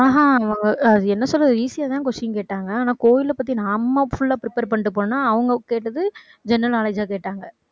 ஆஹ் அஹ் அஹ் அது என்ன சொல்றது easy ஆதான் question கேட்டாங்க. ஆனா கோயிலை பத்தி நாம full ஆ prepare பண்ணிட்டு போனா அவங்க கேட்டது general knowledge ஆ கேட்டாங்க